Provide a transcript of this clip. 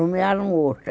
Nomearam outra.